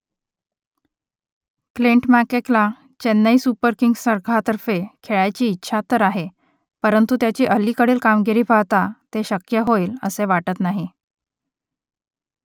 Clint मॅककेला Chennai Super Kings संघातर्फे खेळायची इच्छा तर आहे परंतु त्याची अलीकडील कामगिरी पाहता ते शक्य होईलसे वाटत नाही